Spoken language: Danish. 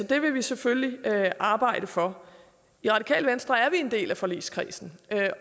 det vil vi selvfølgelig arbejde for i radikale venstre er vi en del af forligskredsen